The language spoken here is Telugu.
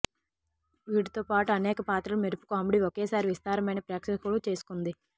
వీటితో పాటు అనేక పాత్రలు మెరుపు కామెడీ ఒకేసారి విస్తారమైన ప్రేక్షకులు చేసుకుంది